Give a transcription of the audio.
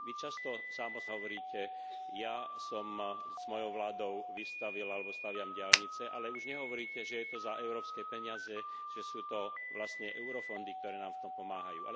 Vy často sám osobne hovoríte Ja som s mojou vládou vystavil alebo staviam diaľnice, ale už nehovoríte, že je to za európske peniaze, že sú to vlastne eurofondy, ktoré nám v tom pomáhajú.